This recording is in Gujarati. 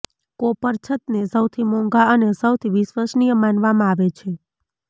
કોપર છતને સૌથી મોંઘા અને સૌથી વિશ્વસનીય માનવામાં આવે છે